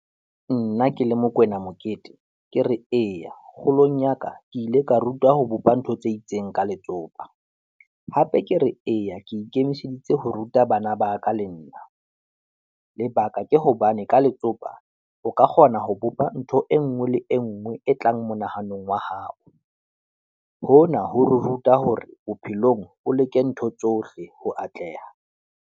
Nna ke le Mokwena Mokete, ke re eya, kgolong ya ka, ke ile ka rutwa ho bopa ntho tse itseng ka letsopa, hape ke re eya, ke ikemiseditse ho ruta bana ba ka le nna. Lebaka ke hobane ka letsopa o ka kgona ho bopa ntho e nngwe le e nngwe e tlang monahanong wa hao. Hona ho re ruta hore bophelong o leke ntho tsohle ho atleha.